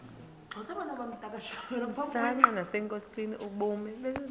msanqa nasenkosini ubume